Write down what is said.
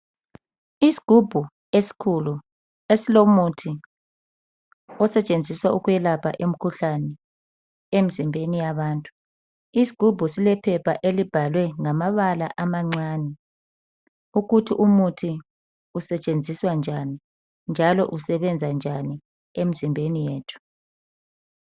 Isigubhu eskhulu esilomuthi osetshenziswa ukwelapha imkhuhlane emzimbeni yabantu , isigubhu silephepha elibhalwe ngamabala amancane ukuthi umuthi usetshenziswa njani njalo usebenza njani emzimbeni yethu